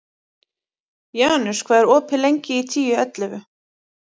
Janus, hvað er opið lengi í Tíu ellefu?